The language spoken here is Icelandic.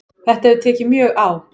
Þetta hefur tekið mjög á